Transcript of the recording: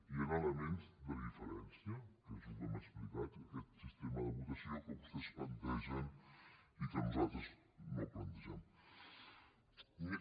hi han elements de diferència que és el que hem explicat aquest sistema de votació que vostès plantegen i que nosaltres no plantegem